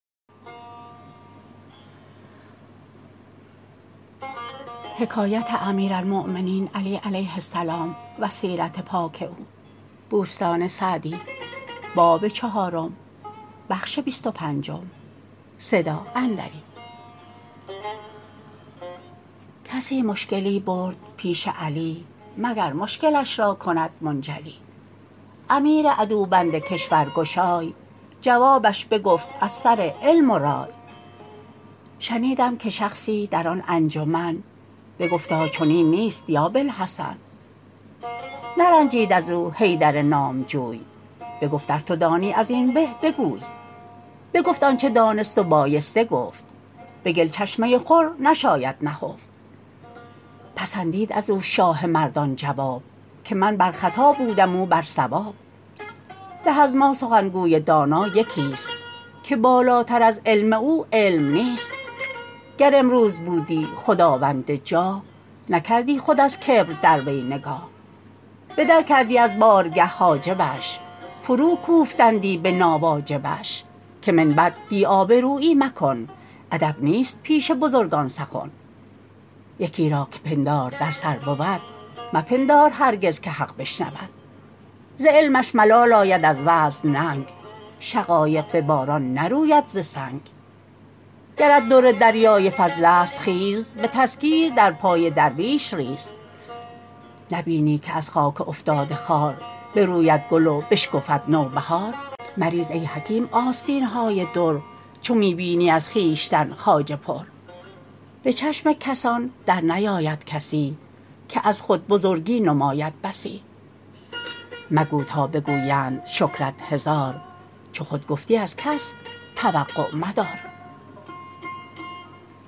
کسی مشکلی برد پیش علی مگر مشکلش را کند منجلی امیر عدوبند کشور گشای جوابش بگفت از سر علم و رای شنیدم که شخصی در آن انجمن بگفتا چنین نیست یا باالحسن نرنجید از او حیدر نامجوی بگفت ار تو دانی از این به بگوی بگفت آنچه دانست و بایسته گفت به گل چشمه خور نشاید نهفت پسندید از او شاه مردان جواب که من بر خطا بودم او بر صواب به از ما سخنگوی دانا یکی است که بالاتر از علم او علم نیست گر امروز بودی خداوند جاه نکردی خود از کبر در وی نگاه به در کردی از بارگه حاجبش فرو کوفتندی به ناواجبش که من بعد بی آبرویی مکن ادب نیست پیش بزرگان سخن یکی را که پندار در سر بود مپندار هرگز که حق بشنود ز علمش ملال آید از وعظ ننگ شقایق به باران نروید ز سنگ گرت در دریای فضل است خیز به تذکیر در پای درویش ریز نبینی که از خاک افتاده خوار بروید گل و بشکفد نوبهار مریز ای حکیم آستین های در چو می بینی از خویشتن خواجه پر به چشم کسان در نیاید کسی که از خود بزرگی نماید بسی مگو تا بگویند شکرت هزار چو خود گفتی از کس توقع مدار